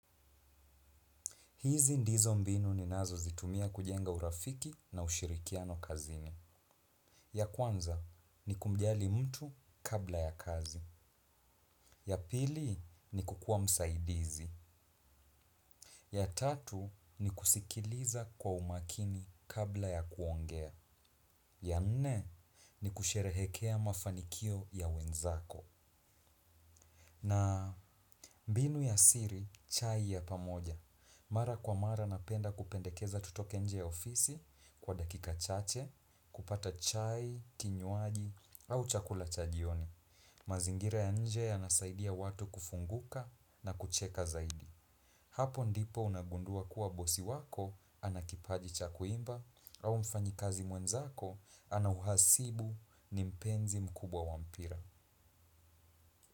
Hizi ndizo mbinu ninazozitumia kujenga urafiki na ushirikiano kazini. Ya kwanza ni kumjali mtu kabla ya kazi. Ya pili ni kukuwa msaidizi. Ya tatu ni kusikiliza kwa umakini kabla ya kuongea. Ya nne ni kusherehekea mafanikio ya wenzako. Na mbinu ya siri, chai ya pamoja. Mara kwa mara napenda kupendekeza tutoke nje ya ofisi kwa dakika chache. Kupata chai, kinywaji au chakula cha jioni. Mazingira ya nje yanasaidia watu kufunguka na kucheka zaidi. Hapo ndipo unagundua kuwa bosi wako ana kipaji cha kuimba. Au mfanyikazi mwenzako ana uhasibu ni mpenzi mkubwa wa mpira.